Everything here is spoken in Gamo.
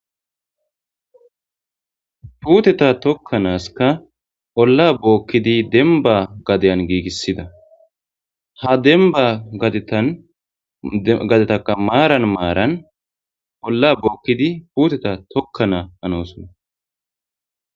Puuteta tokkanaska olla bookkidi demba gadeyan giigissida. Ha demba gadetaka maaran maaran olla bookkidi puuteta tokkana hanoosona.